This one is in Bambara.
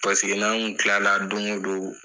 Paseke n'an kun tila la don o don